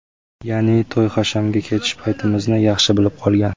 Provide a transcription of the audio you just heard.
Ya’ni, to‘y-hashamga ketish paytimizni yaxshi bilib qolgan.